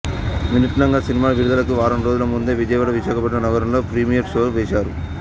వినూత్నంగా సినిమా విడుదలకు వారం రోజుల ముందే విజయవాడ విశాఖపట్నం నగరాల్లో ప్రీమియర్ షో వేశారు